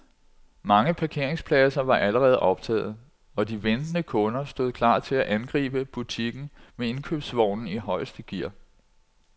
Mange parkeringspladser var allerede optaget, og de ventende kunder stod klar til at angribe butikken med indkøbsvognen i højeste gear.